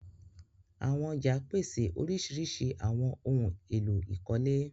Àwọn ọ̀já pese oríṣíríṣí awọn ohun èlò ìkọ́lé.